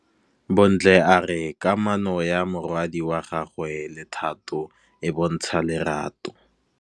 Bontle a re kamanô ya morwadi wa gagwe le Thato e bontsha lerato.